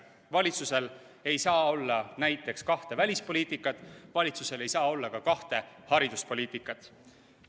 Valitsusel ei saa olla näiteks kahte välispoliitikat, valitsusel ei saa olla ka kahte hariduspoliitikat.